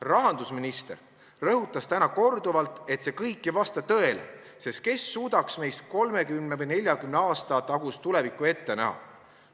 Rahandusminister rõhutas täna korduvalt, et see kõik ei vasta tõele, sest kes suudaks meist 30 või 40 aasta tagust tulevikku ette näha.